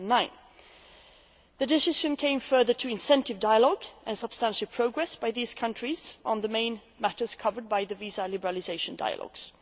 in 2009. The decision came following intensive dialogue and substantial progress by these countries on the main matters covered by the visa liberalisation dialogues.